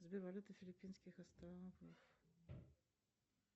сбер валюта филиппинских островов